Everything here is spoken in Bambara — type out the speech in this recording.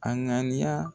A ŋaniya